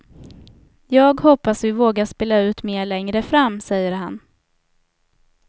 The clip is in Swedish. Jag hoppas vi vågar spela ut mer längre fram, säger han.